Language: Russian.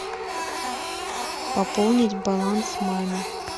пополнить баланс маме